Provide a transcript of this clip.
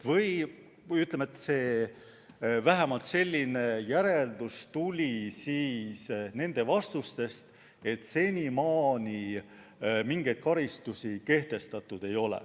Või ütleme nii, et vähemalt selline järeldus tuli välja nende vastustest, et senimaani mingeid karistusi kehtestatud ei ole.